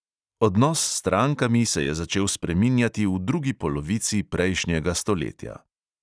Odnos s strankami se je začel spreminjati v drugi polovici prejšnjega stoletja.